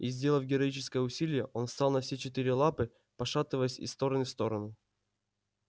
и сделав героическое усилие он встал на все четыре лапы пошатываясь из стороны в сторону